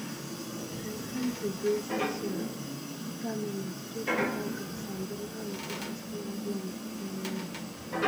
dem fence the grazing zone make animals choose better grass and the land last long long um